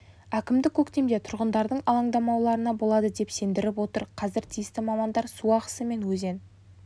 әкімдік көктемде тұрғындардың алаңдамауларына болады деп сендіріп отыр қазір тиісті мамандар су ағысы мен өзен